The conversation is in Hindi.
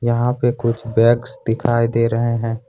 यहां पे कुछ बैग्स दिखाई दे रहे हैं।